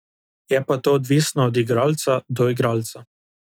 Je pa to odvisno od igralca do igralca.